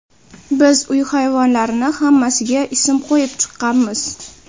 biz uy hayvonlarini hammasiga ism qo‘yib chiqqanmiz.